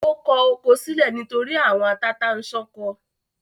Ó kọ oko sílẹ̀ nítorí “àwọn tata-n-sánkọ”.